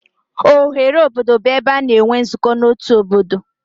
Oghere obodo bụ ebe a na-enwe nzukọ n'otu obodo.